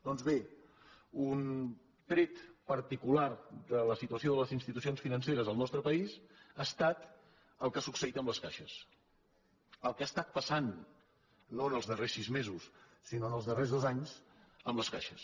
doncs bé un tret particular de la situació de les ins·titucions financeres al nostre país ha estat el que ha succeït amb les caixes el que ha estat passant no en els darrers sis mesos sinó en els darrers dos anys en les caixes